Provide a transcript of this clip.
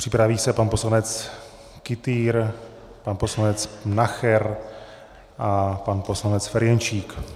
Připraví se pan poslanec Kytýr, pan poslanec Nacher a pan poslanec Ferjenčík.